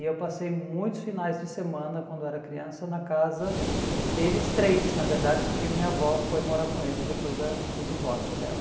E eu passei muitos finais de semana, quando era criança, na casa deles três, na verdade, porque minha avó foi morar com eles depois da do divórcio dela.